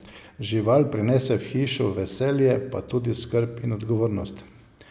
Žival prinese v hišo veselje pa tudi skrb in odgovornost.